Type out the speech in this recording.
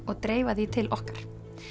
og dreifa því til okkar